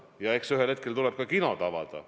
Ja eks ühel hetkel tuleb ka kinod avada.